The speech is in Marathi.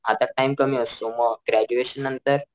हातात टाइम कमी असतो मी ग्रॅज्युएशन नंतर,